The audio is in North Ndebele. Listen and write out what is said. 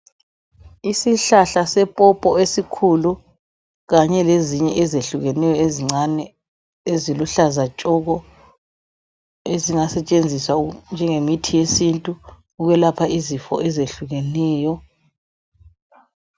Isihlahla sepopo esikhulu kanye lezinye ezehlukeneyo ezincane, eziluhlaza tshoko ezingasetshenziswa njengemithi yesintu ukwelapha izifo ezehlukeneyo.